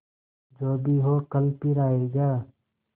जो भी हो कल फिर आएगा